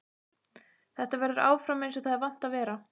Þetta verður áfram einsog það er vant að vera.